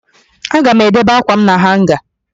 Aga m edebe ákwàm na hanga